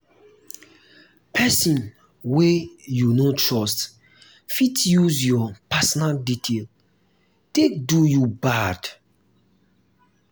person wey you um no trust fit use um your um personal details take do you bad